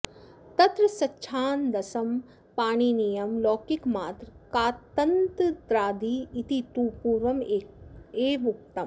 तत्र सच्छान्दसं पाणिनीयं लौकिकमात्र कातन्त्रादि इति तु पूर्वमेवोक्तम्